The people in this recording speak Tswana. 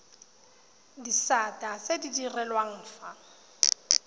disata tse di direlwang fa